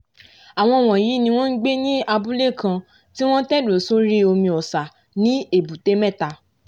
àwọn wọ̀nyí ni wọ́n ngbé ní abúlé kan tí wọ́n tẹ̀dó sórí omi ọ̀sà ní èbúté mẹ́ta